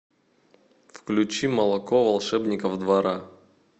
включи молоко волшебников двора